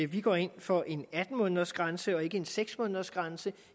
vi går ind for en atten måneders grænse og ikke en seks måneders grænse